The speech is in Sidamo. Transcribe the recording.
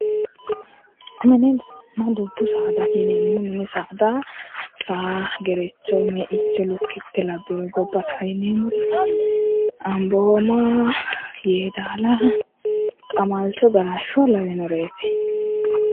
Minninna dubbu saada yineemmo ri mini saada saa gerecho meicho lukitte labanno gabba saada yineemmori anboomaa yedaalaa qamalicho galashsho lawinoreeti